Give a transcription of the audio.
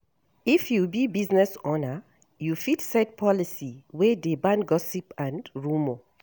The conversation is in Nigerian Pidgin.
If you be business owner, you fit set policy wey dey ban gossip and rumour